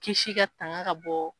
Kisi ka tanga ka bɔ.